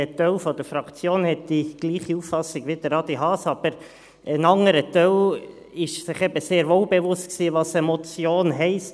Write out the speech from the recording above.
Ein Teil der Fraktion ist derselben Auffassung wie Adrian Haas, aber ein anderer Teil war sich eben sehr wohl bewusst, was eine Motion heisst.